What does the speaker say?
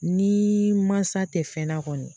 Ni mansa tɛ fɛnna kɔni